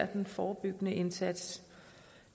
den forebyggende indsats